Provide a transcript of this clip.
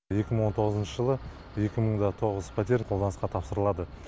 екі мың он тоғызыншы жылы екі мың да тоғыз пәтер қолданысқа тапсырылады